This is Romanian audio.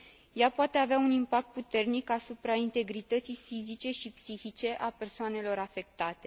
Ea poate avea un impact puternic asupra integrității fizice și psihice a persoanelor afectate.